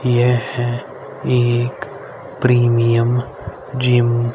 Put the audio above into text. यह एक premium gym --